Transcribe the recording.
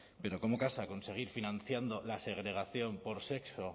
pero cómo casa con seguir financiando la segregación por sexo